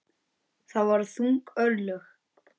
Það voru þung örlög.